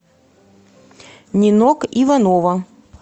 нинок иванова